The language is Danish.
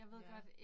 Ja